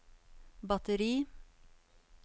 batteri